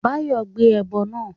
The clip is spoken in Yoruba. Báyọ̀ gbé ẹbọ náà